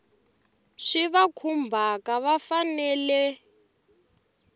swi va khumbhaka va fanele